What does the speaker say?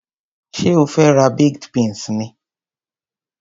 Ṣé o fe ra baked beans ni?